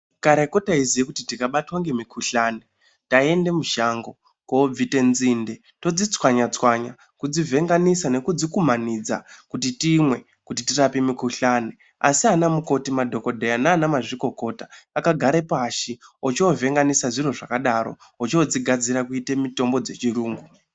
Kareko taiziye kuti tikabatwa ngemukuhlani taiende mushango koobvite nzinde todzitswanya-tswanya kudzivhenganisa nekudzikumanidza kuti timwe kuti tirape mikuhlani. Asi anamukoti, madhokodheya naana mazvikokota akagare pashi ochoovehangisa zviro zvakadaro, ochoodzigadzira kuite mutombo dzechirungu.